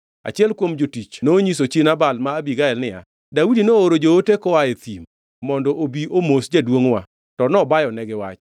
Achiel kuom jotich nonyiso chi Nabal ma Abigael niya, “Daudi nooro joote koa e thim mondo obi omos jaduongʼwa, to nobayonegi wach.